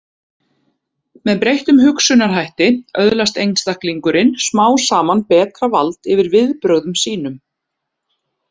Með breyttum hugsunarhætti öðlast einstaklingurinn smám saman betra vald yfir viðbrögðum sínum.